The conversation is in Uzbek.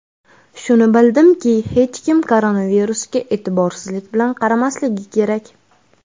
Shuni bildimki, hech kim koronavirusga e’tiborsizlik bilan qaramasligi kerak.